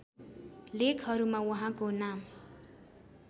लेखहरूमा उहाँको नाम